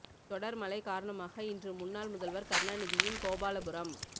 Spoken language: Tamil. தொடர் மழை காரணமாக இன்று முன்னாள் முதல்வர் கருணாநிதியின் கோபாலபுரம்